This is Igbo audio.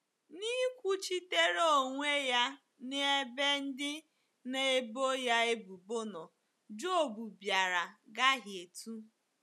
N’ịkwuchitere onwe ya n’ebe ndị na-ebo ya ebubo nọ, Job bịara gahietụ